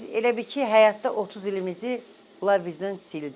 Biz elə bil ki, həyatda 30 ilimizi onlar bizdən sildi.